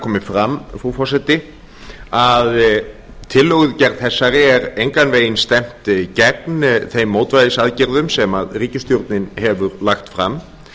komi fram frú forseti að tillögugerð þessari er engan veginn stefnt gegn þeim mótvægisaðgerðum sem ríkisstjórnin hefur lagt fram